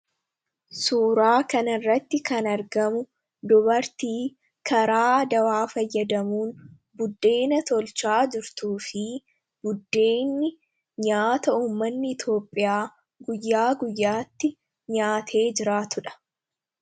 Suuraa kana irratti kan argamu dubartii karaa dawaa fayyadamuun buddeena tolchaa jirtuu fi buddeenni nyaata uummanni iitoophiyaa guyyaa guyyaatti nyaatee jiraatudha.